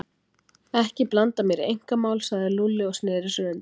Ekki blanda mér í einkamál sagði Lúlli og sneri sér undan.